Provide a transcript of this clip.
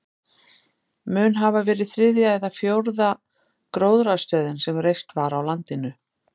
Mun hafa verið þriðja eða fjórða gróðrarstöðin sem reist var á landinu.